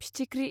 फिथिख्रि